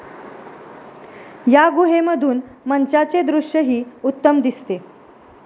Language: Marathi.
या गुहेमधून मंचाचे दृश्यही उत्तम दिसते.